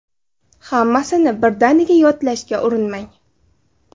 Hammasini birdaniga yodlashga urinmang.